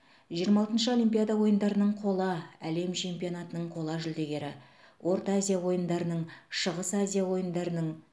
жиырма алтыншы олимпиада ойындарының қола әлем чемпионатының қола жүлдегері орта азия ойындарының шығыс азия ойындарының